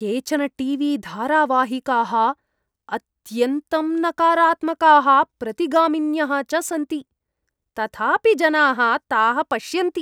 केचन टी.वी.धारावाहिकाः अत्यन्तं नकारात्मकाः प्रतिगामिन्यः च सन्ति, तथापि जनाः ताः पश्यन्ति।